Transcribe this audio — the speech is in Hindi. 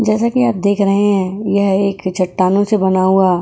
जैसा कि आप देख रहे हैं यह एक चट्टानों से बना हुआ --